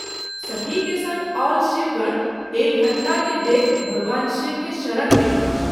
सती के संग आओल शिवगण एहि घटना के देखि भगवान शिव के शरण मे गेलाह।